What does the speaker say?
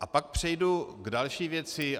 A pak přejdu k další věci.